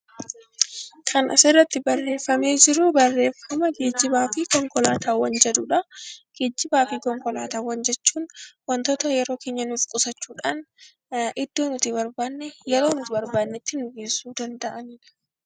Kan asirratti barreeffame, barreeffama geejiba fi konkolaataawwan jedhudha. Geejiba fi konkolaataawwan jechuun waantota yeroo keenya nuuf qusachuudhaan kan iddoo nuti barbaanne, iddoo nuti barbaannetti nu geessuu danda'anidha.